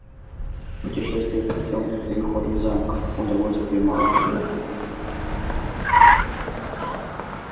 путешествие по тёмным переходам замка удовольствие мало приятное